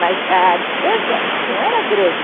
Mas a distância não era grande.